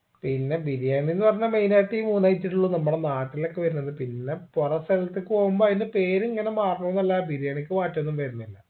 പിന്നെ ബിരിയാണിന്ന് പറഞ്ഞ main ആയിട്ട് ഈ മൂന്ന് item ഉള്ളൂ നമ്മുടെ നാട്ടിലോക്കെ വരുന്നത് പിന്നെ പൊറ സ്ഥലത്തിക്ക് പോവുമ്പോ അതിന്റെ പേര് ഇങ്ങന മാറുന്നു ന്നല്ലാദി ബിരിയാണിക്ക് മാറ്റൊന്നും വരുന്നില്ല